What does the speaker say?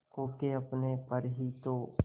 खो के अपने पर ही तो